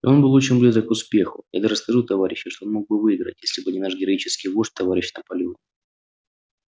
и он был очень близок к успеху я даже скажу товарищи что он мог бы выиграть если бы не наш героический вождь товарищ наполеон